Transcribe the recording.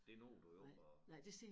Det når du jo ikke at